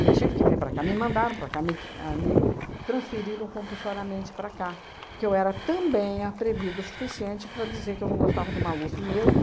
Eu tive que vir para cá, me mandaram para cá, me ahn me transferiram compulsoriamente para cá, porque eu era também atrevida o suficiente para dizer que eu não gostava do Maluf mesmo.